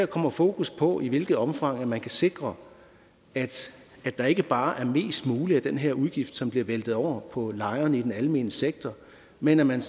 kommer fokus på i hvilket omfang man kan sikre at der ikke bare er mest muligt af den her udgift som bliver væltet over på lejerne i den almene sektor men at man